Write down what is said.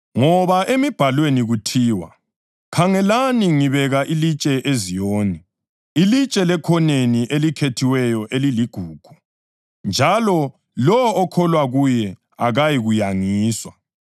Ngoba emibhalweni kuthiwa: “Khangelani, ngibeka ilitshe eZiyoni, ilitshe lekhoneni elikhethiweyo eliligugu, njalo lowo okholwa kuye akayikuyangiswa.” + 2.6 U-Isaya 28.16